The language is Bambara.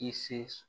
I se